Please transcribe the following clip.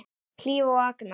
Hlíf og Agnar.